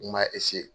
N m'a